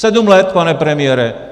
Sedm let, pane premiére!